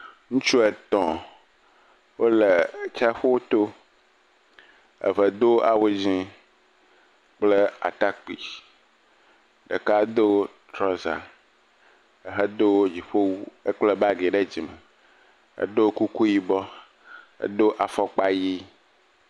Ŋutsu etɔ̃ wole tsaƒu to. Eɖe do awu dzɛ̃ kple atakpui. Ɖeka do trɔza hedo dziƒowu. Ekpla bagi ɖe dzime. Edo kuku yibɔ, edo afɔkpa ʋi.